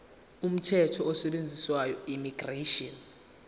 umthetho osetshenziswayo immigration